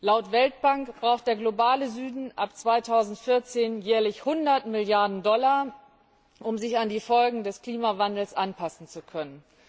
Laut Weltbank braucht der globale Süden ab 2014 jährlich 100 Milliarden Dollar, um sich an die Folgen des Klimawandels anpassen zu können.